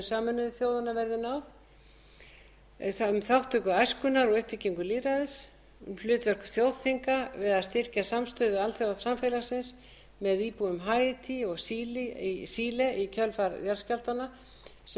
sameinuðu þjóðanna verði náð þriðja þátttöku æskunnar í uppbyggingu lýðræðis fjórða hlutverk þjóðþinga við að styrkja samstöðu alþjóðasamfélagsins með íbúum haítí og síle í kjölfar jarðskjálftanna sem riðu yfir